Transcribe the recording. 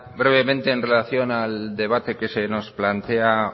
brevemente en relación al debate que se nos plantea